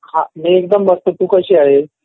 हा मी एकदम मस्त. तू कशी आहेस?